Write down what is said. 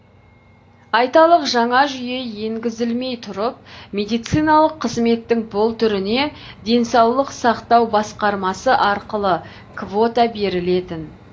айталық жаңа жүйе енгізілмей тұрып медициналық қызметтің бұл түріне денсаулық сақтау басқармасы арқылы квота берілетін